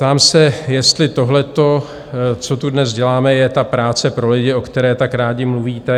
Ptám se, jestli tohle, co tu dnes děláme, je ta práce pro lidi, o které tak rádi mluvíte.